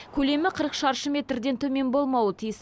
көлемі қырық шаршы метрден төмен болмауы тиіс